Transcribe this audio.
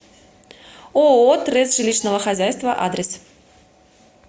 ооо трест жилищного хозяйства адрес